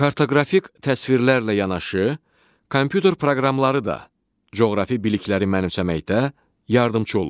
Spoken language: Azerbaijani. Kartoqrafik təsvirlərlə yanaşı, kompüter proqramları da coğrafi bilikləri mənimsəməkdə yardımçı olur.